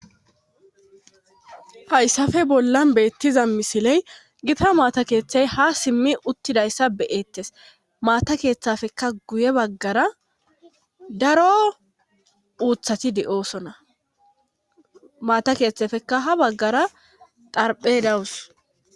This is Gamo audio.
hayssafe bollan beettiza misiley gita maata keeththay ha simmi uttidayssa beyettes maata keeththafekka guye baggara daro uuthati de7osona maata keeththafekka ha baggara darphe dawus